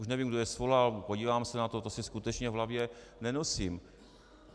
Už nevím, kdo je svolal, podívám se na to, to si skutečně v hlavě nenosím.